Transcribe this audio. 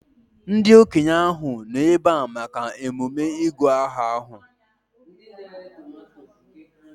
Ndị okenye ahụ nọ ebea maka emume ịgụ aha ahụ